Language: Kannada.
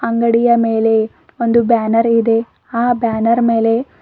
ಅಂಗಡಿಯ ಮೇಲೆ ಒಂದು ಬ್ಯಾನರ್ ಇದೆ ಆ ಬ್ಯಾನರ್ ಮೇಲೆ--